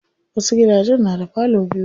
Wasu gidajen na da parlor biyu.